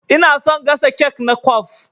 Ina son gasa kek na kwaf.